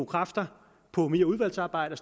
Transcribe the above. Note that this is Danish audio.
kræfter på mere udvalgsarbejde